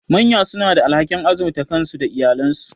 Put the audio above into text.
Manya suna da alhakin azurta kansu da iyalansu.